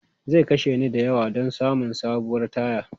Zai kashe ni da yawa don samun sabuwar taya.